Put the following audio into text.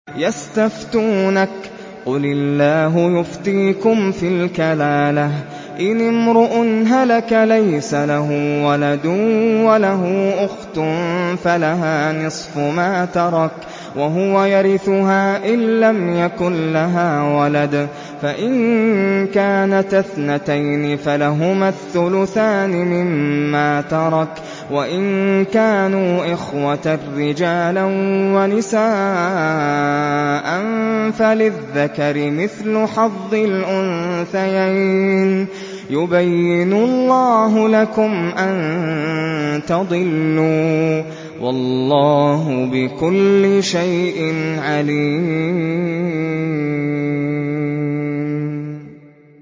يَسْتَفْتُونَكَ قُلِ اللَّهُ يُفْتِيكُمْ فِي الْكَلَالَةِ ۚ إِنِ امْرُؤٌ هَلَكَ لَيْسَ لَهُ وَلَدٌ وَلَهُ أُخْتٌ فَلَهَا نِصْفُ مَا تَرَكَ ۚ وَهُوَ يَرِثُهَا إِن لَّمْ يَكُن لَّهَا وَلَدٌ ۚ فَإِن كَانَتَا اثْنَتَيْنِ فَلَهُمَا الثُّلُثَانِ مِمَّا تَرَكَ ۚ وَإِن كَانُوا إِخْوَةً رِّجَالًا وَنِسَاءً فَلِلذَّكَرِ مِثْلُ حَظِّ الْأُنثَيَيْنِ ۗ يُبَيِّنُ اللَّهُ لَكُمْ أَن تَضِلُّوا ۗ وَاللَّهُ بِكُلِّ شَيْءٍ عَلِيمٌ